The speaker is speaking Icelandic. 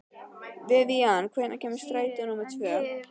Vivian, hvenær kemur strætó númer tvö?